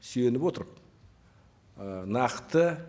сүйеніп отырып ы нақты